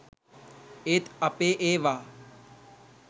ඒත් අපේ ඒවා